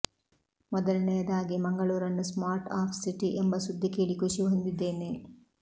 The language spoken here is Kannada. ಮೊದಲನೆಯದಾಗಿ ಮಂಗಳೂರನ್ನು ಸ್ಟಾರ್ಟ್ ಅಪ್ ಸಿಟಿ ಎಂಬ ಸುದ್ದಿ ಕೇಳಿ ಖುಷಿ ಹೊಂದಿದ್ದೇನೆ